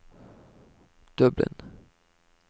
Dublin